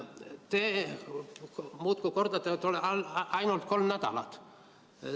Te muudkui kordate, et ainult kolm nädalat.